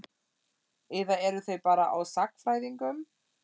Eða eru þeir bara á sagnfræðingum?